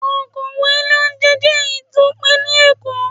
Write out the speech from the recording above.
Okowò ilé oúnjẹ jẹ́ èyí tó pẹ́ ní Èkó.